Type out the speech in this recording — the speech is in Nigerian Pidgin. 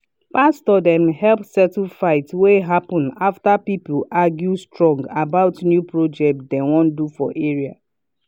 pastor dem help settle fight wey happen after people argue strong about new project dem wan do for area.